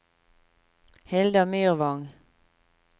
Hilda Myrvang